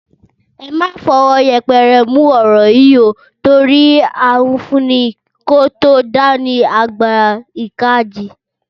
Ẹ má fọwọ́ yẹpẹrẹ mú ọ̀rọ̀ yìí ó torí awífúnni kó tó dání, àgbà ìjàkadì